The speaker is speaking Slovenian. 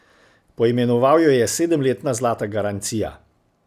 Poimenoval jo je sedemletna zlata garancija.